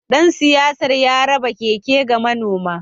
Dan siyasar ya raba keke ga manoma